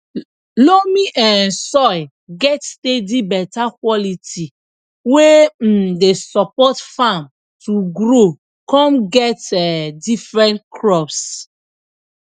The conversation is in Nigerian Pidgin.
loamy um soil get steady beta quality wey um dey support farm to grow con get um different crops